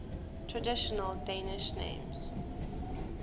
traditional danish names